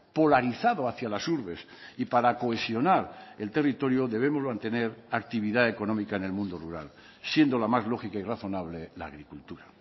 polarizado hacia las urbes y para cohesionar el territorio debemos mantener actividad económica en el mundo rural siendo la más lógica y razonable la agricultura